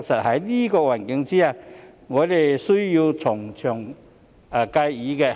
在這環境下，我們必須從長計議。